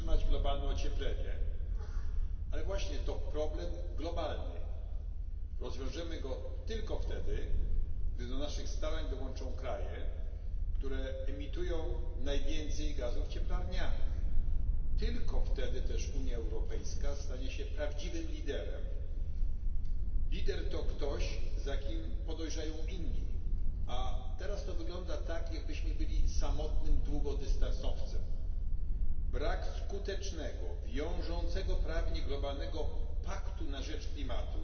Pani Przewodnicząca! Nie mamy wątpliwości trzeba zatrzymać globalne ocieplenie, ale właśnie to jest problem globalny. Rozwiążemy go tylko wtedy, gdy do naszych starań dołączą kraje, które emitują najwięcej gazów cieplarnianych. Tylko wtedy też Unia Europejska stanie się prawdziwym liderem. Lider to ktoś, za kim podążają inni, a teraz to wygląda tak, jakbyśmy byli samotnym długodystansowcem. Brak skutecznego, wiążącego prawnie globalnego paktu na rzecz klimatu